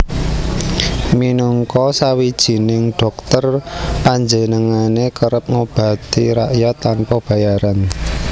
Minangka sawijining dhokter panjenengané kerep ngobati rakyat tanpa bayaran